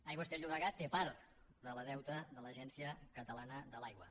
aigües ter llobregat té part del deute de l’agència catalana de l’aigua